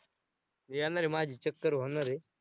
येणार आहे, माझी चक्कर होणार आहे.